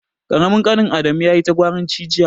Ƙaramin ƙanin Adamu yayi ta gwaranci jiya.